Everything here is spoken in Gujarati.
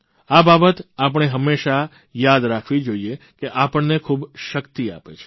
આ બાબત આપણે હંમેશા યાદ રાખવી જોઇએ કે આપણને ખૂબ શક્તિ આપે છે